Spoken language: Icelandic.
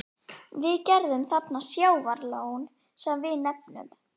Við gerðum þarna sjávarlón, sem við nefnum